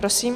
Prosím.